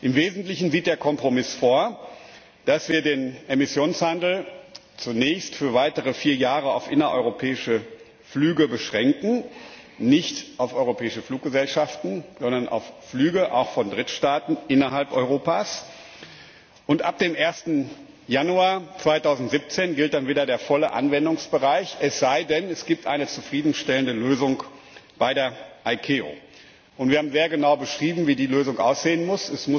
Im Wesentlichen sieht der Kompromiss vor, dass wir den Emissionshandel zunächst für weitere vier Jahre auf innereuropäische Flüge beschränken, nicht auf europäische Fluggesellschaften, sondern auf Flüge auch von Drittstaaten innerhalb Europas. Ab dem 1. Januar 2017 gilt dann wieder der volle Anwendungsbereich, es sei denn, es gibt eine zufriedenstellende Lösung bei der ICAO. Wir haben sehr genau beschrieben, wie die Lösung aussehen muss.